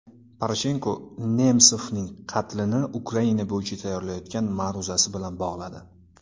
Poroshenko Nemsovning qatlini Ukraina bo‘yicha tayyorlayotgan ma’ruzasi bilan bog‘ladi.